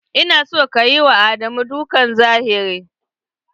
Ina son kayi ma Ado dukkan zahiri!